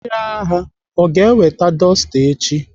Chiaga aga eweta dọsta echi?